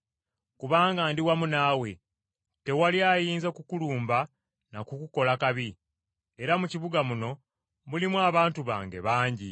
Kubanga ndi wamu naawe, tewali ayinza kukulumba n’akukola kabi. Era mu kibuga muno mulimu abantu bange bangi.”